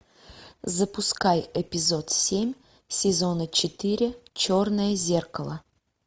запускай эпизод семь сезона четыре черное зеркало